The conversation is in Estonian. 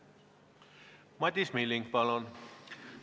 Madis Milling, palun!